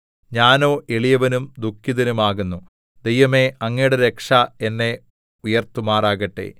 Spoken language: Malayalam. ഞാനോ എളിയവനും ദുഃഖിതനും ആകുന്നു ദൈവമേ അങ്ങയുടെ രക്ഷ എന്നെ ഉയർത്തുമാറാകട്ടെ